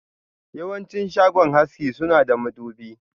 Yawanci shagon haski suna da madubi.